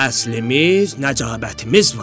Əslimiz, nəcabətimiz var.